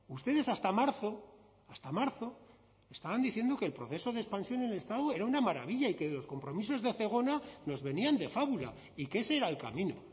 ustedes hasta marzo hasta marzo estaban diciendo que el proceso de expansión en el estado era una maravilla y que los compromisos de zegona nos venían de fábula y que ese era el camino